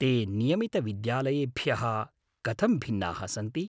ते नियमितविद्यालयेभ्यः कथं भिन्नाः सन्ति?